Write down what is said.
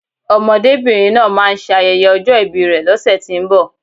Ọmọdébìnrin náà máà ń ṣe ayẹyẹ ọjọ́ ìbi rè lọ́sẹ̀tínbọ̀